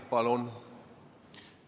Palun!